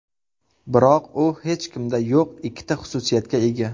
Biroq u hech kimda yo‘q ikkita xususiyatga ega.